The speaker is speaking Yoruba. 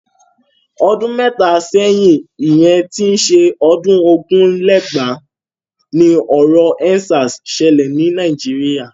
Ọdún mẹ́ta sẹ́yìn ìyẹn tí ń ṣe ọdún ogún lé lẹ́gbàá ni ọ̀rọ̀ End Sars ṣẹlẹ̀ ni Nàìjíríà.